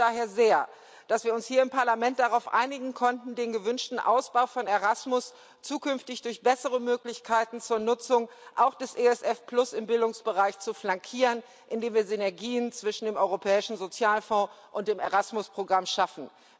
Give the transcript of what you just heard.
Es freut mich daher sehr, dass wir uns hier im Parlament darauf einigen konnten, den gewünschten Ausbau von Erasmus zukünftig durch bessere Möglichkeiten zur Nutzung auch des ESF im Bildungsbereich zu flankieren, indem wir Synergien zwischen dem Europäischen Sozialfonds und dem Programm Erasmus schaffen.